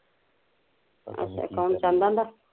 ਕੋਣ ਚੰਦ ਕਹਿੰਦਾ